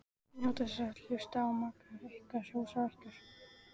Njótið þess að hlusta á maka ykkar hrósa ykkur.